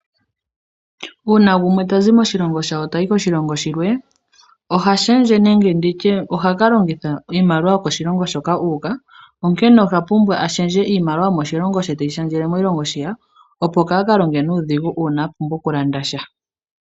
Uuna gumwe tazi moshilongo shawo ta yi koshilongo shilwe, ohashendje nenge oha ka longitha iimaliwa yokoshilongo hoka ta yi onkene ohapumbwa a shendje iimaliwa yomoshilongo she te yi shendjele mo shilongo shi ta yi opo kaakalonge nuudhigu uuna apumbwa okulanda sha.